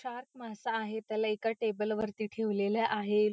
Shark मासा आहे त्याला एका टेबल वरती ठेवलेल आहे.